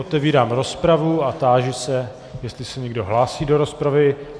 Otevírám rozpravu a táži se, jestli se někdo hlásí do rozpravy.